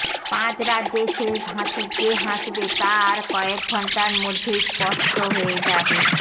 পাঁচ রাজ্যে শেষ হাসি কে হাসবে তা আর কয়েকঘণ্টার মধ্যেই স্পষ্ট হয়ে